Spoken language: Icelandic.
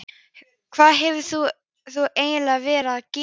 Hvað hefur þú eiginlega verið að gera?